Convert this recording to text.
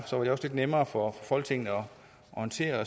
lidt nemmere for folketinget at orientere